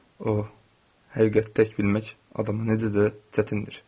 Oh, həqiqəti tək bilmək adama necə də çətindir.